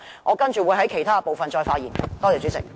我稍後會在其他部分再發言。